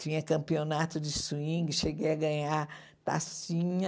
Tinha campeonato de swing, cheguei a ganhar tacinha.